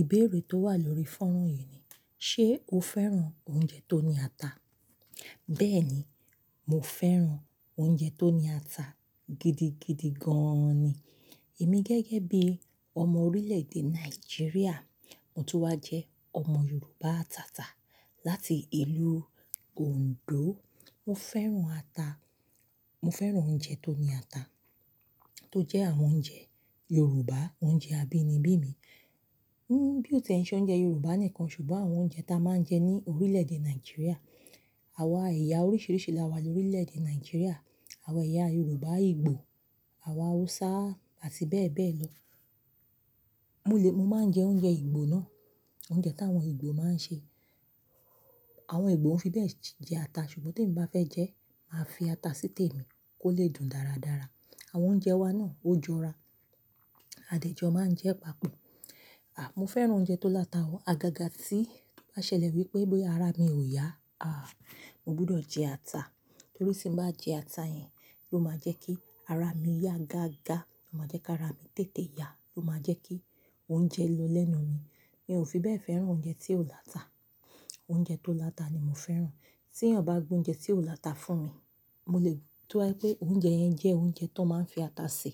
Ìbéèrè tó wà lórí fọ́run yìí ni "ṣé o fẹ́ràn oúnjẹ tó ní ata?" Bẹ́ẹ̀ni, mo fẹ́ràn oúnjẹ tó ní ata gidigidi gan-an ni. Èmi gẹ́gẹ́ bí ọmọ orílè-èdè Nàìjíríà, mo tún wà jẹ́ ọmọ Yorùbá ataata láti ìlú Òǹdó. Mo fẹ́ràn ata-- mo fẹ́ràn oúnjẹ tó ní ata, tó jẹ́ àwọn oúnjẹ Yorùbá, oúnjẹ abínibí mi. Ẹ̀, bí o ti ń ṣe oúnjẹ Yorùbá nìkan, ṣùgbọ́n àwọn oúnjẹ ta a máa ń jẹ ní orílè-èdè Nàìjíríà, àwa ẹ̀yà oríṣìíríṣìí la wà lórílè-èdè Nàìjíríà, àwa ẹ̀yà Yorùbá, Igbo, àwa Hausa àti bẹ́ẹ̀ bẹ́ẹ̀ lọ. Mo lè-- mo máa ń jẹ oúnjẹ Igbo náà, oúnjẹ táwọn Igbo máa ń sè. Àwọn Igbo ò fi bẹ́ẹ̀ jẹ ata, ṣùgbọ́n tí mo bá fẹ́ jẹ ẹ́, màá fi ata sí tèmi kó lè dùn dáradára. Àwọn oúnjẹ wa náà ó jọra. Àdìẹ jọ máa ń jẹ́ papọ̀. À, mo fẹ́ràn oúnjẹ tó láta, àgàgà tí ó bá ṣẹlẹ̀ wípé bí ara mi ò yá, à, mo gbọdọ̀ jẹ ata. Torí tí mo bá jẹ ata yẹn ló máa jẹ́ kí ara mi yá gágá, ó máa jẹ́ kí ara mi tètè yá, ó máa jẹ́ kí oúnjẹ lọ lẹ́nu mi. Mi ò fi bẹ́ẹ̀ fẹ́ràn oúnjẹ tí ò láta. Oúnjẹ tó láta ni mo fẹ́ràn. Tí èèyàn bá gbé oúnjẹ tí ò láta fún mi, mo lè ríi pé oúnjẹ yẹn jẹ́ oúnjẹ tó máa ń fi ata sè,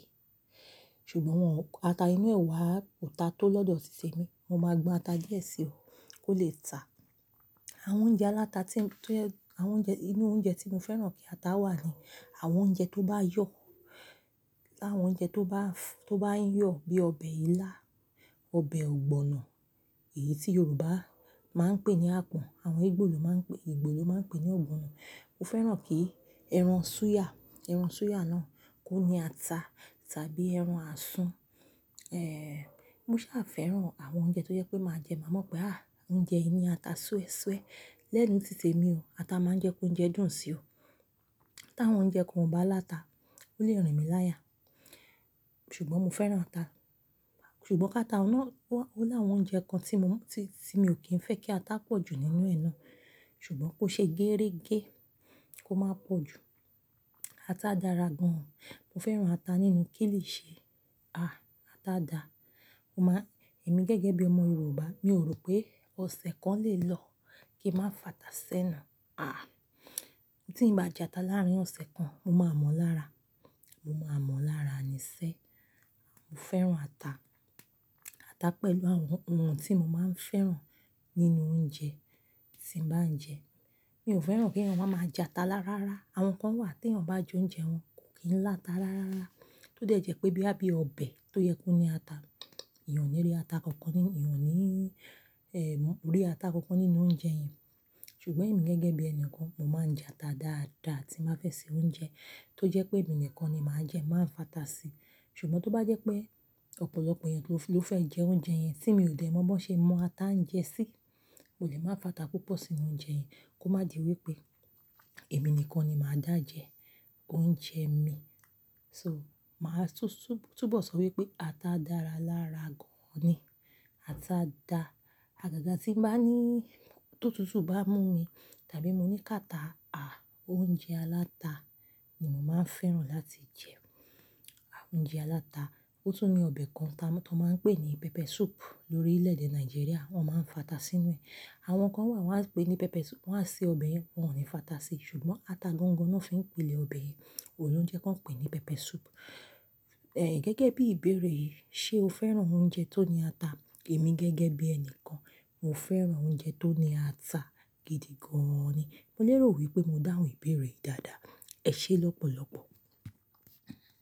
ṣùgbọ́n ata inú ẹ̀ wá ò ta tó lọ́dọ̀ títè mi. Mo máa gbọn ata díẹ̀ sí ọ kó lè tàá. Àwọn oúnjẹ aláta tí ń jẹ́-- àwọn oúnjẹ, inú oúnjẹ tí mo fẹ́ràn kí ata wà ni àwọn oúnjẹ tó bá yọ̀. Láwọn oúnjẹ tó bá fọ-- tó bá ń yọ bíi ọbẹ̀ ilá, ọbẹ̀ ogbono, èyí tí Yorùbá máa ń pè ní "àpàn," àwọn Igbo ló máa ń pe-- Igbo ló máa ń pè ní ogbono. Mo fẹ́ràn kí ẹran súyà, ẹran súyà náà kó ní ata tàbí ẹran asu. Ẹ̀, mo sá fẹ́ràn àwọn oúnjẹ tó jẹ́ pé màá jẹ, màá mọ̀ pé, à, oúnjẹ yìí ní ata súesúe lẹ́nu títè mi o. Ata máa ń jẹ́ kó jẹ dùn si o. Tí àwọn oúnjẹ kan ò bá láta, ó lè rìn mí láya. Ṣùgbọ́n mo fẹ́ràn ata. Ṣùgbọ́n káta náà wá-- ó láwọn oúnjẹ kan tí mo mú, tí, tí mi ò kí ń fẹ́ kí ata pọ̀ jù nínú ẹ na. Ṣùgbọ́n kó ṣe gérégé, kó máa pọ̀ jù. Ata dára gan-an. Mo fẹ́ràn ata nínú kìlìṣẹ́. À, ata dáa. Ó máa ń-- èmi gẹ́gẹ́ bí ọmọ Yorùbá, mi ò rò pé ọ̀sẹ̀ kan le lọ kí ń má fẹ́ ata sẹ́nu. À, tí ì bá jẹ ata láàárín ọ̀sẹ̀ kan, mo máa mọ̀ lára. Mo máa mọ̀ lára niṣẹ́. Mo fẹ́ràn ata. Ata pẹ̀lú àwọn ohun tí mo máa ń fẹ́ràn nínú oúnjẹ tí mo bá ń jẹ. Mi ò fẹ́ràn kí èèyàn má máa jẹ ata lárálára. Àwọn kan wà tí èèyàn bá ju oúnjẹ wọn kò kí n láta lárálára. Ó lè jẹ́ pé bíi, bíi ọbẹ̀ tó yẹ kó ní ata, ìyẹn ò ní rí ata kankan nínú-- ìyẹn ò ní, ẹ̀, rí ata kankan nínú oúnjẹ yẹn. Ṣùgbọ́n èmi gẹ́gẹ́ bí ẹni kan, mo máa ń jẹ ata dáadáa tí mo bá fẹ́ sè oúnjẹ tó jẹ́ pé èmi nìkan ni màá jẹ́ máa fẹ́ ata sí. Ṣùgbọ́n tó bá jẹ́ pé ọ̀pọ̀lọpọ̀ èèyàn ló fẹ́ jẹ oúnjẹ yẹn tí mi ò lè mọ̀ bó ṣe mo máa ta ń jẹ sí, mo lè má fẹ́ ata púpọ̀ sínú oúnjẹ yẹn kó má di wípé èmi nìkan ni màá dà jẹ oúnjẹ mi. So, màá túbọ̀ sọ wípé ata dára lárà gan-an ni. Ata dáa. Àgàgà tí ń bá ní-- tó tútù bá mú mi tàbí mo ní káta, à, oúnjẹ aláta ni mò máa ń fẹ́ràn láti jẹ. Àwọn oúnjẹ aláta, ó tún ní ọbẹ̀ kan ta-- tó máa ń pè ní pepper soup lórílẹ̀-èdè Nàìjíríà, wọ́n máa ń fẹ́ ata sínú ẹ̀. Àwọn kan wà wọ́n á pè é ní pepper soup-- wọ́n á sè ọbẹ̀ yẹn, wọ́n ò ní fẹ́ ata síi. Ṣùgbọ́n ata gangan náà fi ń pilẹ̀ ọbẹ̀ yẹn. Òun ni óunjẹ́ kí wọ́n pè é ní pepper soup. Ẹ̀, gẹ́gẹ́ bí ìbéèrè yìí, "ṣé o fẹ́ràn oúnjẹ tó ní ata?" Èmi gẹ́gẹ́ bí ẹni kan, mo fẹ́ràn oúnjẹ tó ní ata gidigan ni. Mo lè rò wípé mo dáhùn ìbéèrè yìí dáadáa. Ẹ ṣé lọ́pọ̀lọpọ̀.